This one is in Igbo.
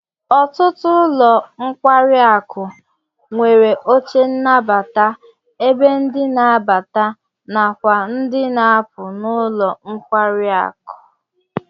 Ọtụtụ ụlọ nkwari aku nwere oche nnabata ebe ndị n'abata nakwa ndi n'apu n'ụlọ nkwari akụ